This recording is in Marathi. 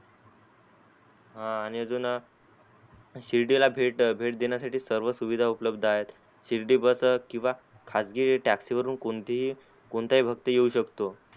हा आणि अजून शिर्डी ला भेट देण्यासाठी सर्व सुविधा उपलबद्ध आहे शिर्डी बस किवा खाजगी taxi वरुण कोणती कोणता ही भक्त येऊ शकतो.